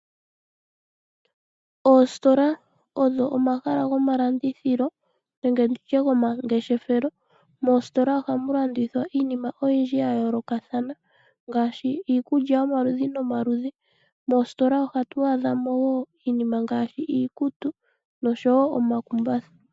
Oositola odho omahala gomalandithilo nenge nditye gomangeshefelo. Moositola ohamu landithwa iinima oyindji ya yoolokathana ngaashi iikulya yomaludhi nomaludhi. Moositola ohatu adha mo wo iinima ngaashi iikutu noshowo omakumbatha.